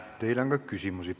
Teile on ka küsimusi.